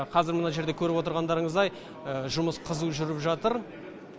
қазір мына жерде көріп отырғандарыңыздай жұмыс қызу жүріп жатыр